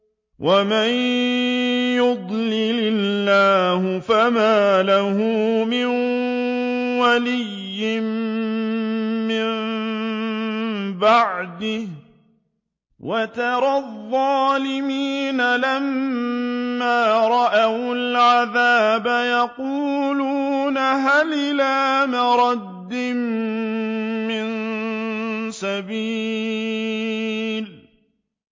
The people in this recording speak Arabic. وَمَن يُضْلِلِ اللَّهُ فَمَا لَهُ مِن وَلِيٍّ مِّن بَعْدِهِ ۗ وَتَرَى الظَّالِمِينَ لَمَّا رَأَوُا الْعَذَابَ يَقُولُونَ هَلْ إِلَىٰ مَرَدٍّ مِّن سَبِيلٍ